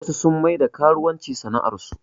Wasu sun maida karuwanci sana'ar su